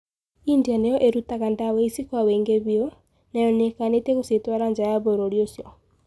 India niyo irutaga dawa ici kwa wiingi biũ, nayo niikanitie gũcitwara njaa ya bũrũrĩ ũcio